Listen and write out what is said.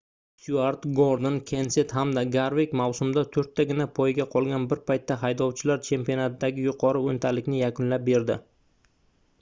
styuart gordon kenset hamda garvik mavsumda toʻrttagina poyga qolgan bir paytda haydovchilar chempionatidagi yuqori oʻntalikni yakunlab berdi